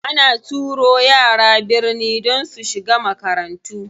Ana turo yara birni don su shiga makarantu.